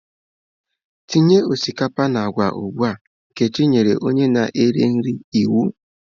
Tinye osikapa na agwa ugbu a! Nkechi nyere onye na-ere nri iwu.